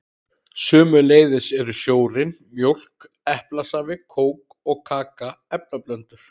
Sömuleiðis eru sjórinn, mjólk, eplasafi, kók og kaka efnablöndur.